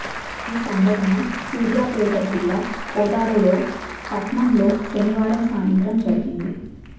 ఈ సంఘటన సూర్యాపేట జిల్లా కోదాడలో పట్టణంలో శనివారం సాయంత్రం జరిగింది